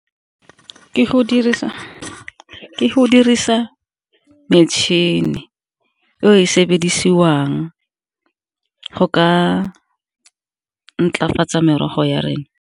Ke go dirisa metšhini eo e sebedisiwang go ka ntlafatsa merogo ya rena.